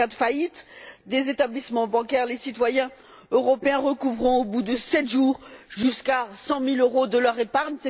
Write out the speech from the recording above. En cas de faillite des établissements bancaires, les citoyens européens pourront recouvrer, au bout de sept jours, jusqu'à 100000euros de leur épargne.